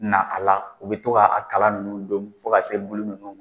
Na a la u bɛ to ka a kala ninnu domu fo ka se bulu ninnu ma